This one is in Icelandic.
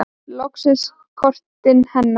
Lokast kortin hennar.